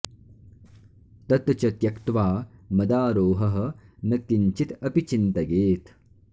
तत् च त्यक्त्वा मदारोहः न किञ्चित् अपि चिन्तयेत्